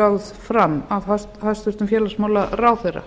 lögð fram af hæstvirtum félagsmálaráðherra